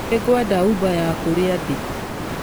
Nĩ ngwenda Uber ya kũrĩa ndĩ.